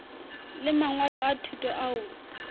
le mangwalo a thuto ao